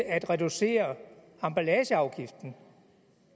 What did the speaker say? at reducere emballageafgiften